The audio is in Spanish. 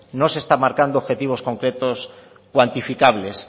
no se está marcando objetivos concretos cuantificables